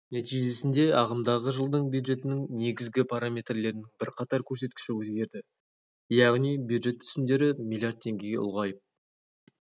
нәтижесінде ағымдағы жылдың бюджетінің негізгі параметрлерінің бірқатар көрсеткіші өзгерді яғни бюджет түсімдері млрд теңгеге ұлғайып